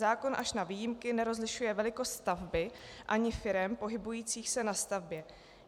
Zákon až na výjimky nerozlišuje velikost stavby ani firem pohybujících se na stavbě.